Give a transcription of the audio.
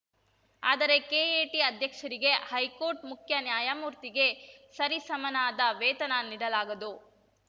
ಆದರೆ ಕೆಎಟಿ ಅಧ್ಯಕ್ಷರಿಗೆ ಹೈಕೋರ್ಟ್‌ ಮುಖ್ಯನ್ಯಾಯಮೂರ್ತಿಗೆ ಸರಿ ಸಮನಾದ ವೇತನ ನೀಡಲಾಗದು